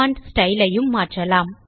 font style ஐயும் மாற்றலாம்